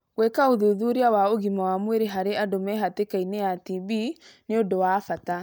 Gwika ũthuthuria wa ũgima wa mwĩrĩ harĩ andũ mehatĩkainĩ ya TB nĩ ũndũ wa bata.